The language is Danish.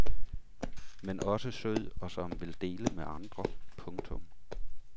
Men også sød og som vil dele med andre. punktum